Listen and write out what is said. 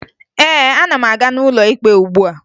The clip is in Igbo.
Ee, ana m aga n'ụlọ ikpe ugbua